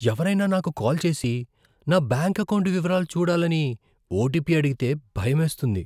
ఎవరైనా నాకు కాల్ చేసి, నా బ్యాంక్ ఎకౌంటు వివరాలు సరిచూడాలని ఓటిపీ అడిగితే భయమేస్తుంది.